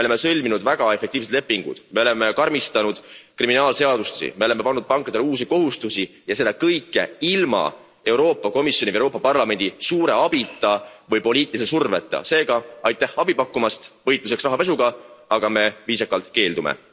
Me oleme sõlminud väga efektiivsed lepingud, me oleme karmistanud kriminaalseadusi, me oleme pannud pankadele uusi kohustusi ja seda kõike ilma Euroopa Komisjoni ja Euroopa Parlamendi suure abita või poliitilise surveta, seega aitäh abi pakkumast võitluses rahapesuga, aga me viisakalt keeldume.